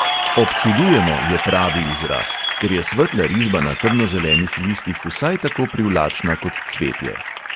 "Občudujemo" je pravi izraz, ker je svetla risba na temnozelenih listih vsaj tako privlačna kot cvetje.